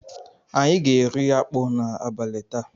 Anyị ga-eri akpu n'abalị taa.